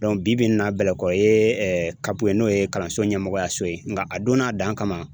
bi bi in na Bɛlɛkɔ ye CAP ye n'o ye kalanso ɲɛmɔgɔya so ye nga a don n'a dan kama